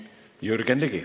Jürgen Ligi.